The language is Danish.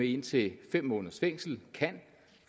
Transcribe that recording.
indtil fem måneders fængsel kan